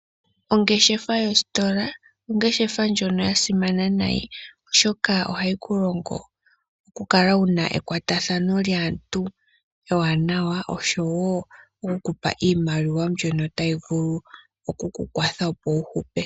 Ongeshefa yositola ongeshefa ndjono yasimana nayi, oshoka ohayi kulongo okukala wuna ekwatathano naantu ewanawa oshowo okukupa iimaliwa mbyono tayi vulu oku kukwatha opo wuhupe.